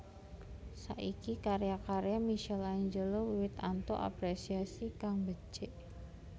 Saiki karya karya Michaelangelo wiwit antuk aprésiasi kang becik